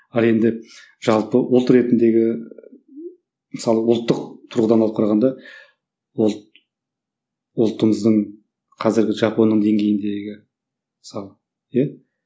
ал енді жалпы ұлт ретіндегі мысалы ұлттық тұрғыдан алып қарағанда ұлт ұлтымыздың қазіргі жапонның деңгейіндеге мысалы иә